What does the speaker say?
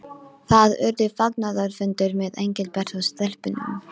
Það urðu fagnaðarfundir með Engilbert og stelpunum.